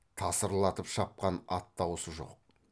тасырлатып шапқан ат даусы жоқ